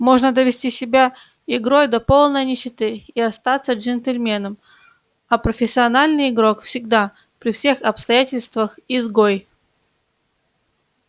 можно довести себя игрой до полной нищеты и остаться джентльменом а профессиональный игрок всегда при всех обстоятельствах изгой